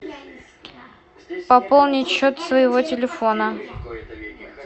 пополнить счет своего телефона